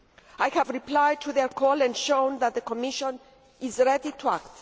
I have replied to their call and shown that the Commission is ready to act.